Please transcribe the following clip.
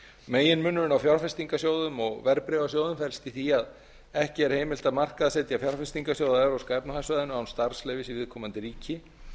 meginmunurinn á fjárfestingarsjóðum og verðbréfasjóðum felst í því að ekki er heimilt að markaðssetja fjárfestingarsjóði á evrópska efnahagssvæðinu án starfsleyfis í viðkomandi ríki